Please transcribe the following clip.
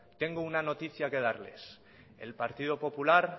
tengo una noticia que darles el partido popular